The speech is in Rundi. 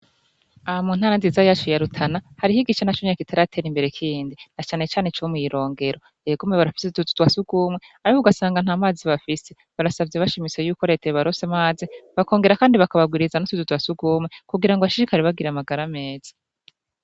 Aha mu ntara nziza yacu ya Rutana hariho igice na conyene kitaratera imbere kindi na canecane co mw'irongero, egome barafise utuzu twa sugumwe ariko ugasanga nt'amazi bafise barasavye bashimitse yuko reta yobaronsa amazi bakongera kandi bakabagwiriza n'utuzu twa sugumwe kugira ngo bashishikare bagira amagara meza.